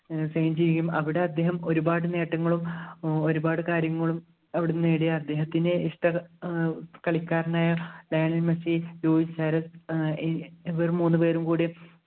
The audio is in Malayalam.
ചെയ്യും അവിടെ അദ്ദേഹം ഒരുപാട് നേട്ടങ്ങളും ഏർ ഒരുപാട് കാര്യങ്ങളും അവിടുന്ന് നേടിയ അദ്ദേഹത്തിൻ്റെ ഇഷ്ട ഏർ കളിക്കാരനായ ലയണൽ മെസ്സി ഏർ ഇവർ മൂന്നുപേരും കൂടി